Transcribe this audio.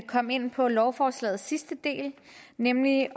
komme ind på lovforslagets sidste del nemlig